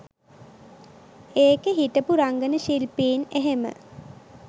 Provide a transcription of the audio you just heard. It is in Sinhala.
ඒකෙ හිටපු රංගන ශිල්පීන් එහෙම